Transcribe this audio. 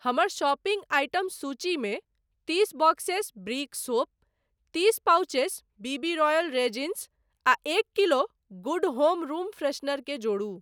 हमर shopping item सूचीमे तीस बॉक्सेस ब्रिक सोप, तीस pouches B B royal raisins आ एक kilo good home room freshener केँ जोड़ू।